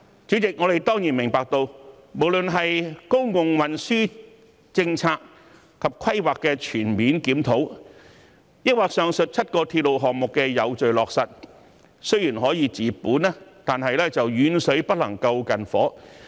主席，我們當然明白，公共運輸政策及規劃的全面檢討，或上述7個鐵路項目的有序落實雖然可以治本，但遠水不能救近火。